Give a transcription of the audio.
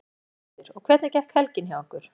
Birta Björnsdóttir: Og hvernig gekk helgin hjá ykkur?